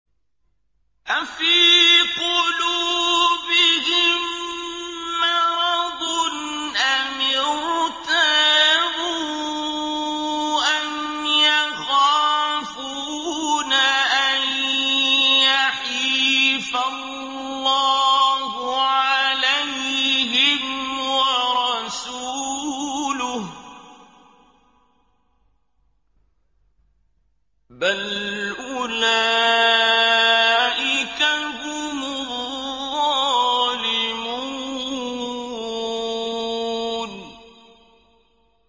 أَفِي قُلُوبِهِم مَّرَضٌ أَمِ ارْتَابُوا أَمْ يَخَافُونَ أَن يَحِيفَ اللَّهُ عَلَيْهِمْ وَرَسُولُهُ ۚ بَلْ أُولَٰئِكَ هُمُ الظَّالِمُونَ